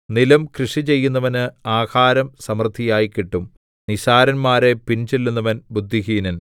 നിലം കൃഷിചെയ്യുന്നവന് ആഹാരം സമൃദ്ധിയായി കിട്ടും നിസ്സാരന്മാരെ പിൻചെല്ലുന്നവൻ ബുദ്ധിഹീനൻ